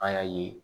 An y'a ye